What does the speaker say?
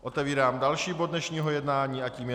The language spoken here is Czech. Otevírám další bod dnešního jednání a tím je